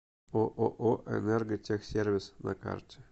ооо энерготехсервис на карте